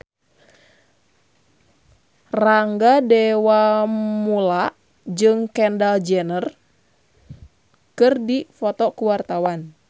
Rangga Dewamoela jeung Kendall Jenner keur dipoto ku wartawan